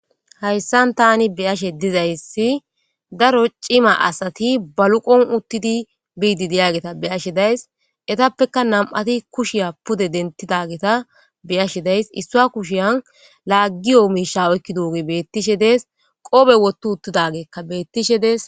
Hayssan tani beyashe dizayssi daro cima asati baluqon uttidi biidi diyageta beyashe days etappeka nam'ati kushiya pude denttidageta beyashe days issua kushiyan laaggiyo miisha oykki duoge bettishe dees qoobe wottu uttidageekka beettishe dees.